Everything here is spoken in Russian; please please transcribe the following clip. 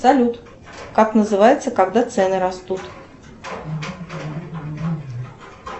салют как называется когда цены растут